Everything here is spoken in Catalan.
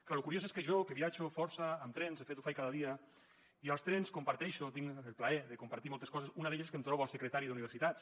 clar lo curiós és que jo que viatjo força en tren de fet ho faig cada dia i als trens comparteixo tinc el plaer de compartir moltes coses una d’elles és que em trobo el secretari d’universitats